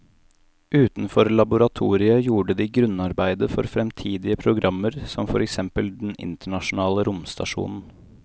Utenfor laboratoriet gjorde de grunnarbeidet for fremtidige programmer som for eksempel den internasjonale romstasjonen.